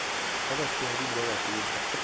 ba batshehadi le ba batona